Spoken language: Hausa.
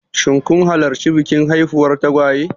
Shin kun halarci bikin haifuwar tagwaye?